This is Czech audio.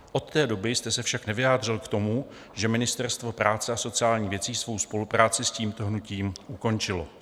Od té doby jste se však nevyjádřil k tomu, že Ministerstvo práce a sociálních věcí svou spolupráci s tímto hnutím ukončilo.